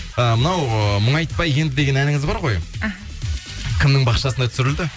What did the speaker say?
ы мынау ыыы мұңайытпа енді деген әніңіз бар ғой іхі кімнің бақшасында түсірілді